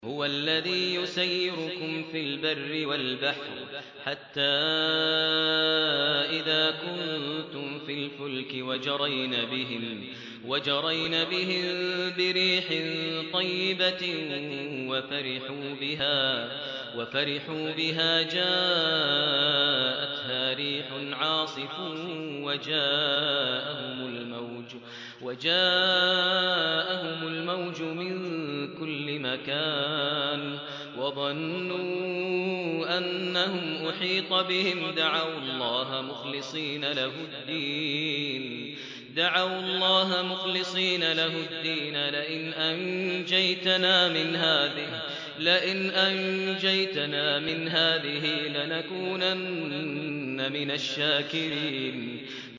هُوَ الَّذِي يُسَيِّرُكُمْ فِي الْبَرِّ وَالْبَحْرِ ۖ حَتَّىٰ إِذَا كُنتُمْ فِي الْفُلْكِ وَجَرَيْنَ بِهِم بِرِيحٍ طَيِّبَةٍ وَفَرِحُوا بِهَا جَاءَتْهَا رِيحٌ عَاصِفٌ وَجَاءَهُمُ الْمَوْجُ مِن كُلِّ مَكَانٍ وَظَنُّوا أَنَّهُمْ أُحِيطَ بِهِمْ ۙ دَعَوُا اللَّهَ مُخْلِصِينَ لَهُ الدِّينَ لَئِنْ أَنجَيْتَنَا مِنْ هَٰذِهِ لَنَكُونَنَّ مِنَ الشَّاكِرِينَ